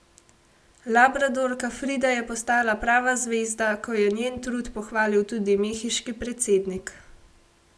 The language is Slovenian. Labradorka Frida je postala prava zvezda, ko je njen trud pohvalil tudi mehiški predsednik.